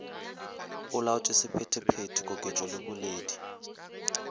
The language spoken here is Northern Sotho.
olaotše sephetephete koketšo le boledi